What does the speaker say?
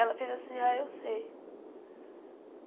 Ela fez assim, ah, eu sei.